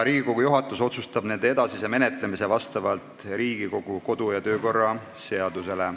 Riigikogu juhatus otsustab nende edasise menetlemise vastavalt Riigikogu kodu- ja töökorra seadusele.